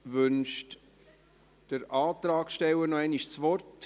Wünscht der Antragsteller noch einmal das Wort?